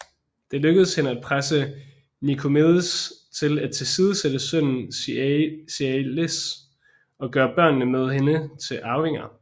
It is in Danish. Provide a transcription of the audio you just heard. Det lykkedes hende at presse Nikomedes til at tilsidesætte sønnen Ziaelas og gøre børnene med hende til arvinger